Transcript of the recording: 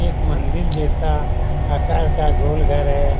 एक मंदिर जैसा आकार का गोल घर है।